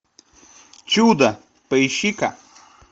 чудо поищи ка